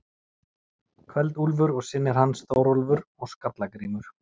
Kveld-Úlfur og synir hans, Þórólfur og Skalla-Grímur.